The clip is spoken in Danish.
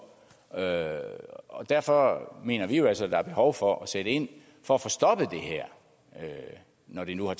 og og derfor mener vi jo altså at der er behov for at sætte ind for at få stoppet det her når det nu har